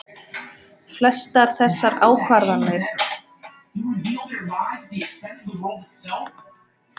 Flestar þessara ákvarðana eru teknar af ríkisvaldinu.